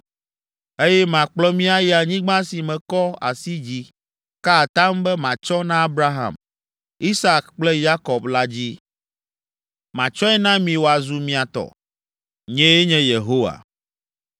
eye makplɔ mi ayi anyigba si mekɔ asi dzi ka atam be matsɔ na Abraham, Isak kple Yakob la dzi. Matsɔe na mi wòazu mia tɔ. Nyee nye Yehowa.’ ”